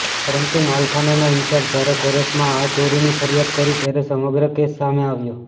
પરંતુ માલખાનાનાં ઈન્ચાર્જે જ્યારે કોર્ટમાં આ ચોરીની ફરિયાદ કરી ત્યારે સમગ્ર કેસ સામે આવ્યો